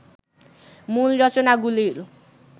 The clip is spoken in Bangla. মূল রচনাগুলির